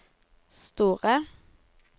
store